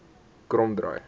kromdraai